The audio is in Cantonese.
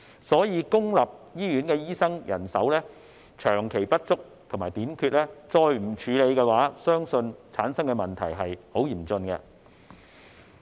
所以，若再不處理公營醫院醫生人手長期不足和短缺的問題，相信會產生十分嚴峻的問題。